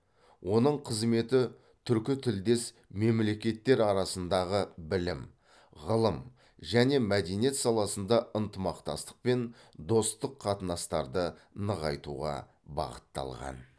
оның қызметі түркітілдес мемлекеттер арасындағы білім ғылым және мәдениет саласында ынтымақтастық пен достық қатынастарды нығайтуға бағытталған